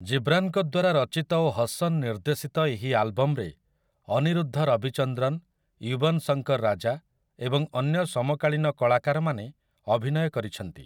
ଜିବ୍ରାନ୍‌ଙ୍କ ଦ୍ୱାରା ରଚିତ ଓ ହସନ୍ ନିର୍ଦ୍ଦେଶିତ ଏହି ଆଲବମରେ ଅନିରୁଦ୍ଧ ରବିଚନ୍ଦ୍ରନ୍, ୟୁବନ୍ ଶଙ୍କର୍ ରାଜା ଏବଂ ଅନ୍ୟ ସମକାଳୀନ କଳାକାରମାନେ ଅଭିନୟ କରିଛନ୍ତି ।